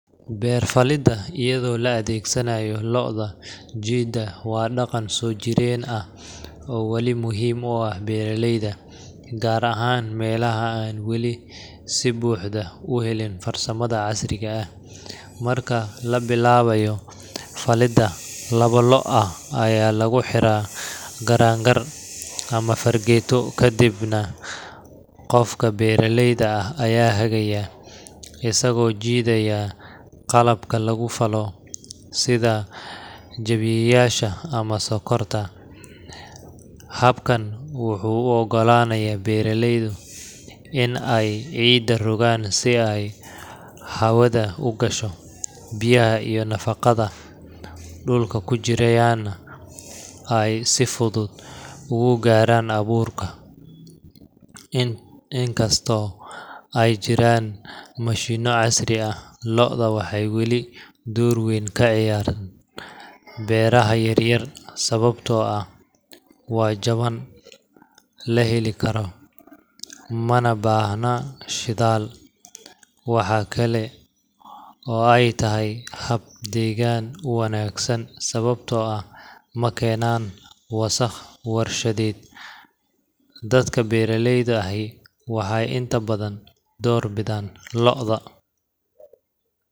Beer falidda iyadoo la adeegsanayo lo’da jiida waa dhaqan soo jireen ah oo wali muhiim u ah beeraleyda, gaar ahaan meelaha aan weli si buuxda u helin farsamada casriga ah. Marka la bilaabayo falidda, labo lo’ ah ayaa lagu xiraa garangar ama fargeeto, kadibna qofka beeraleyda ah ayaa hagaya, isagoo jiidaya qalabka lagu falo sida jabiyeyaasha ama sokorta. Habkan wuxuu u oggolaanayaa beeraleyda in ay ciidda rogaan si ay hawada u gasho, biyaha iyo nafaqooyinka dhulka ku jiraana ay si fudud ugu gaaraan abuurka. Inkastoo ay jiraan mashiinno casri ah, lo’da waxay weli door weyn ka ciyaaraan beeraha yaryar sababtoo ah waa jaban, la heli karo, mana baahna shidaal. Waxa kale oo ay tahay hab deegaan u wanaagsan, sababtoo ah ma keenaan wasakh warshadeed. Dadka beeraleyda ahi waxay inta badan door bidaan lo’da.